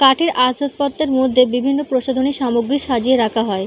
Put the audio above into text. কাঠের আসবাবপত্রের মধ্যে বিভিন্ন প্রসাধুনিক সামগ্রিক সাজিয়ে রাখা হয়।